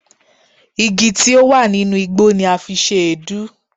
Igi tí ó wà nínú igbó ni a fi ṣe èédú.